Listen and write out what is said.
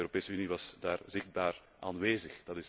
De Europese Unie was daar zichtbaar aanwezig.